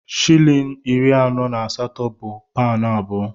Shịlịn iri anọ na asatọ bụ paụnụ abụọ.